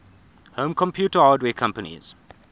home computer hardware companies